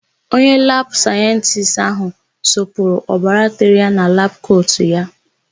Onye labụ sayentisti áhụ̀ sụpụrụ obara tere ya na labụ kotu ya.